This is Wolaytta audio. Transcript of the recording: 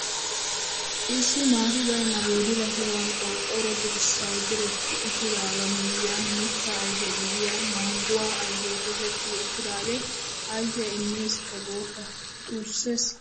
Issi maati baynna boodilla sohuwaan qorqqoro dirssay diretti uttidagaa miyiyaan mittaa ayfe gidiyaa mangguwaa ayfee toketti uttidagee ayfiyaa immesikka gooppa xuussees!